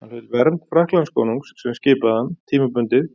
Hann hlaut vernd Frakklandskonungs sem skipaði hann, tímabundið,